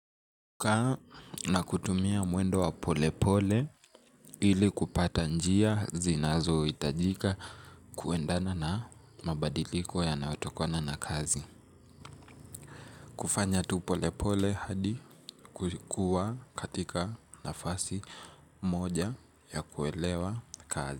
Kukaa na kutumia mwendo wa pole pole ili kupata njia zinazohitajika kuendana na mabadiliko yanayotokana na kazi. Kufanya tu pole pole hadi kukua katika nafasi moja ya kuelewa kazi.